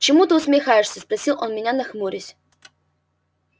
чему ты усмехаешься спросил он меня нахмурясь